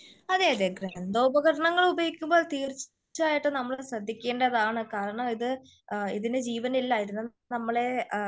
അതേ അതേ ഗ്രന്ഥഉപകരണങ്ങൾ ഉപയോഗിക്കുമ്പോൾ തീർച്ചയായിട്ടും നമ്മൾ ശ്രദ്ധിക്കേണ്ടതാണ്. കാരണം ഇത് ഇതിന് ജീവൻ ഇല്ല ഇത് നമ്മളെ